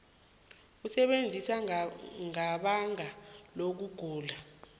ukusebenza ngebanga lokugula